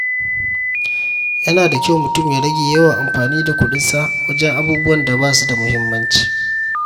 Yana da kyau mutum ya rage yawan amfani da kuɗinsa wajen abubuwan da ba su da muhimmanci.